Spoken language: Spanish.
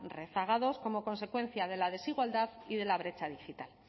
rezagados como consecuencia de la desigualdad y de la brecha digital